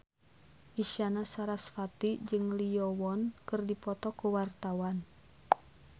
Isyana Sarasvati jeung Lee Yo Won keur dipoto ku wartawan